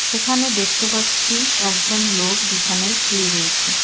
এখানে দেখতে পাচ্ছি একজন লোক বিছানায় শুয়ে রয়েছে।